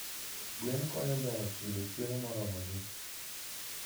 Gweno konyo joot yudo chiemo moromogi.